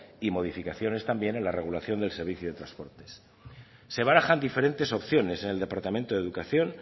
y modificaciones también en la regulación del servicio de transportes se barajan diferentes opciones en el departamento de educación